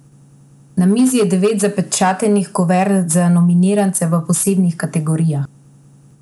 Na mizi je devet zapečatenih kuvert za nominirance v posebnih kategorijah.